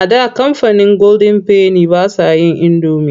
A da kamfanin golden penny ba sa yin indomi.